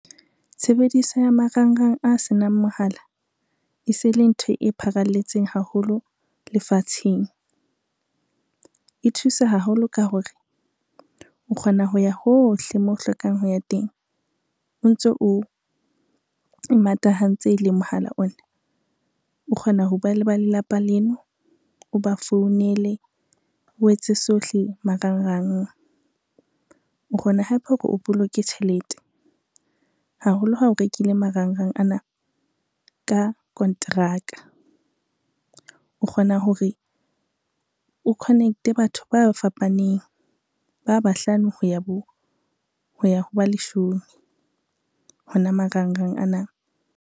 Tshebediso ya marangrang a senang mohala, e se le ntho e pharalletseng haholo lefatsheng. E thusa haholo ka hore o kgona ho ya hohle moo hlokang ho ya teng, o ntso o e matahantse le mohala ona, o kgona ho bua le ba lelapa leno, o ba founele o etse sohle marangrang. O kgona hape hore o boloke tjhelete haholo ha o rekile marangrang ana ka kontraka, o kgona hore o connect-e batho ba fapaneng ba bahlano ho ya ho ba leshome hona marangrang ana.